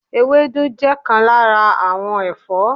ewédú je nkan lara awon Ẹfọ́